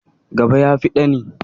Gaba ya fi ɗani.